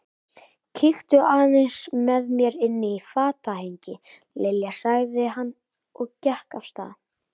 Kíktu aðeins með mér inn í fatahengi, Lilja sagði hann og gekk af stað.